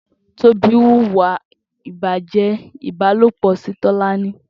Tobi wúwà ibàjẹ̀ ibàlópọ̀ si Tolani